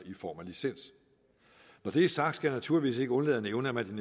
i form af licens når det er sagt skal jeg naturligvis ikke undlade at nævne man